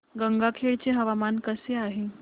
गंगाखेड चे हवामान कसे आहे